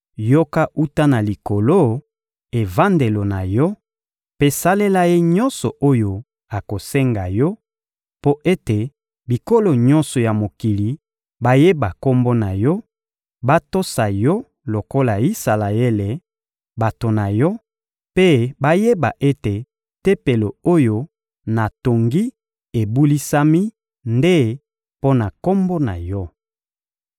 yoka wuta na Likolo, evandelo na Yo, mpe salela ye nyonso oyo akosenga Yo, mpo ete bikolo nyonso ya mokili bayeba Kombo na Yo, batosa Yo lokola Isalaele, bato na Yo, mpe bayeba ete Tempelo oyo natongi ebulisami nde mpo na Kombo na Yo.